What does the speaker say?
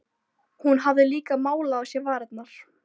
Hún hafði líka málað á sér varirnar.